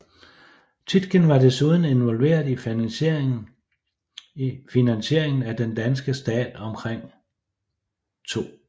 Tietgen var desuden involveret i finansiering af den danske stat omkring 2